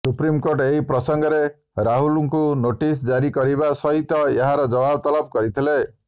supreme court ଏହି ପ୍ରସଙ୍ଗରେ ରାହୁଲ୍ଙ୍କୁ ନୋଟିସ୍ ଜାରି କରିବା ସହିତ ଏହାର ଜବାବ ତଲବ କରିଥିଲେ